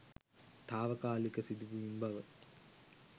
තාවකාලික සිදුවීම් බව